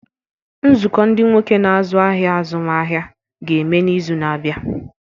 Nzukọ ndị nwoke na-azụ ahịa azụmaahịa ga-eme n'izu na-abịa.